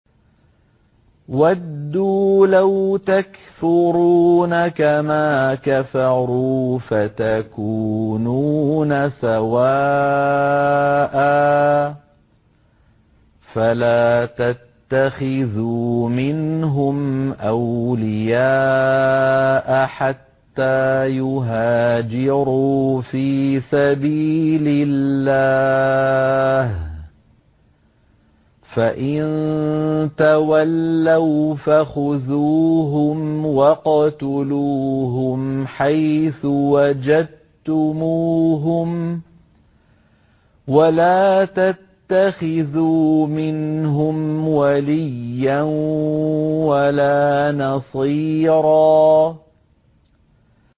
وَدُّوا لَوْ تَكْفُرُونَ كَمَا كَفَرُوا فَتَكُونُونَ سَوَاءً ۖ فَلَا تَتَّخِذُوا مِنْهُمْ أَوْلِيَاءَ حَتَّىٰ يُهَاجِرُوا فِي سَبِيلِ اللَّهِ ۚ فَإِن تَوَلَّوْا فَخُذُوهُمْ وَاقْتُلُوهُمْ حَيْثُ وَجَدتُّمُوهُمْ ۖ وَلَا تَتَّخِذُوا مِنْهُمْ وَلِيًّا وَلَا نَصِيرًا